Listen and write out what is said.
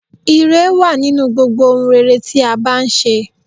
Ìre wà nínú gbogbo ohun rere tí a bá n ṣe